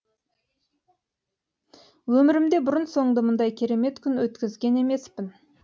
өмірімде бұрын соңды мұндай керемет күн өткізген емеспін